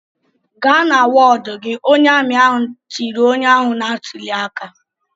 "Gaa na wọdụ gị!" Onye amị ahụ tiri onye ahụ na-atụli aka.